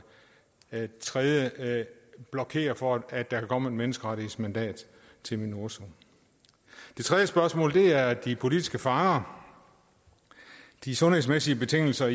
det tredje blokerer for at der kan komme et menneskerettighedsmandat til minurso det tredje spørgsmål er de politiske fanger de sundhedsmæssige betingelser